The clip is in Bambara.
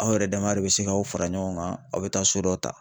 Aw yɛrɛ dama de bɛ se k(aw fara ɲɔgɔn kan a bɛ taa so dɔ ta.